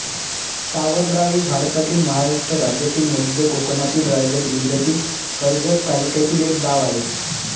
सावरगाव हे भारतातील महाराष्ट्र राज्यातील मध्य कोकणातील रायगड जिल्ह्यातील कर्जत तालुक्यातील एक गाव आहे